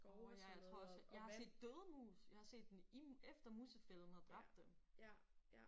Åh ja jeg tror også jeg har set døde mus jeg har set dem i efter musefælden havde dræbt dem